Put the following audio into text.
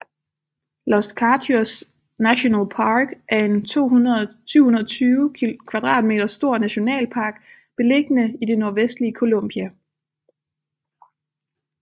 Los Katíos National Park er en 720 km² stor nationalpark beliggende i det nordvestlige Colombia